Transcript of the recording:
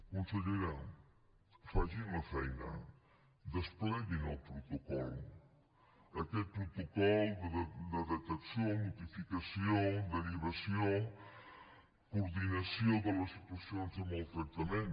consellera facin la feina despleguin el protocol aquest protocol de detecció notificació derivació i coordinació de les situacions de maltractament